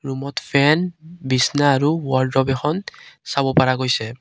ৰুমত ফেন বিছনা আৰু ৱাৰ্ড্ৰব এখন চাব পাৰা গৈছে।